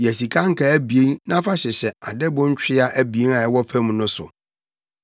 Yɛ sika nkaa abien na fa hyehyɛ adɛbo ntwea abien a ɛwɔ fam no mu.